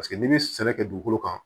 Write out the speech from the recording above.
Paseke n'i bɛ sɛnɛ kɛ dugukolo kan